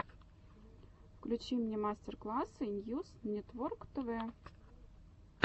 включи мне мастер классы ньюс нетворктв